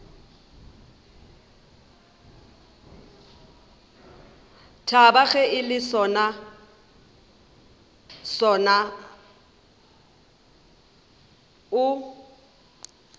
thaba ge le sona o